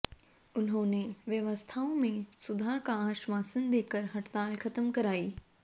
उन्होंने व्यवस्थाओं में सुधार का आश्वासन देकर हड़ताल खत्म कराई